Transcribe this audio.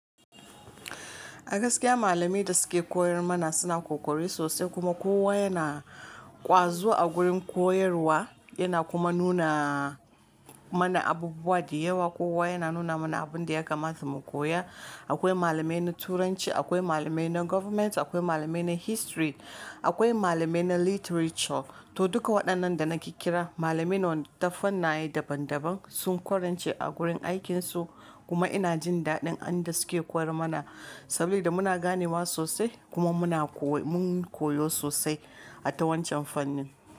A gaskiya malamai da suke koyar mana suna ƙoƙari sosai kuma kowa yana-- ƙwazo a gurin koyarwa, yana kuma nuna mana abubuwa da yawa. Kowa yana nuna mana abun da ya kamta mu koya. Akwai malamai na turanci, akwai malamai na government, akwai malamai na history, akwai malamai na literature. To duka waɗannan da na kikkira, malamai ne ta fannaye daban daban sun ƙwarance a gurin aikin su, kuma ina jin daɗin abin da suke koyar mana sabida muna ganewa sosai kuma muna ko-- mun koyo sosai a ta wancan fannin.